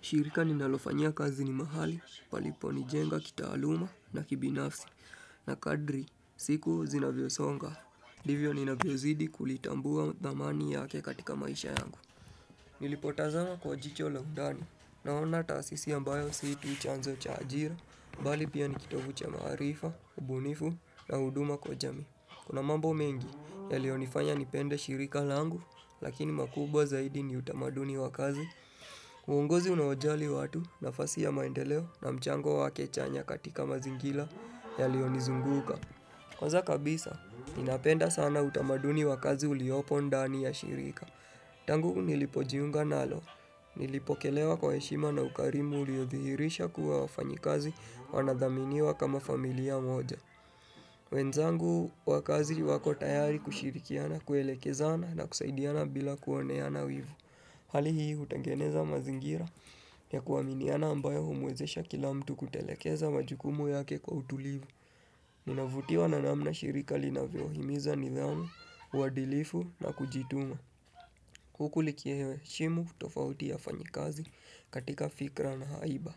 Shirika ninalofanyia kazi ni mahali palipo nijenga kitaaluma na kibinafsi na kadri siku zinavyosonga ndivyo ninavyozidi kulitambua dhamani yake katika maisha yangu Nilipotazama kwa jicho la undani naona taasisi ambayo si tu chanzo cha ajira bali pia ni kitovu cha maarifa, ubunifu na huduma kwa jamii Kuna mambo mengi yalionifanya nipende shirika langu Lakini makubwa zaidi ni utamaduni wa kazi uongozi unaojali watu nafasi ya maendeleo na mchango wake chanya katika mazingira yalionizunguka. Kwanza kabisa, ninapenda sana utamaduni wa kazi uliopo ndani ya shirika. Tangu nilipojiunga nalo. Nilipokelewa kwa heshima na ukarimu uliodhihirisha kuwa wafanyikazi wanadhaminiwa kama familia moja. Wenzangu wa kazi wako tayari kushirikiana, kuelekezana na kusaidiana bila kuoneana wivu. Hali hii hutengeneza mazingira ya kuaminiana ambayo humwezesha kila mtu kutelekeza majukumu yake kwa utulivu. Ninavutiwa na namna shirika linavyohimiza nidhamu, uadilifu na kujituma. Huku liki heshimu utofauti ya wafanyikazi katika fikra na haiba.